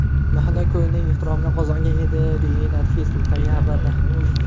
Mahalla-ko‘yning ehtiromini qozongan edi”, deyiladi Facebook’dagi xabarda.